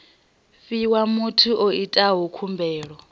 fhiwa muthu o itaho khumbelo